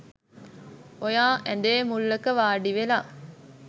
ඔයා ඇඳේ මුල්ලක වාඩිවෙලා